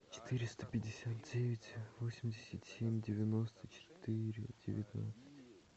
четыреста пятьдесят девять восемьдесят семь девяносто четыре девятнадцать